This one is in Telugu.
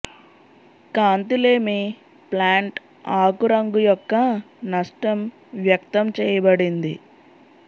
కాంతి లేమి ప్లాంట్ ఆకు రంగు యొక్క నష్టం వ్యక్తం చేయబడింది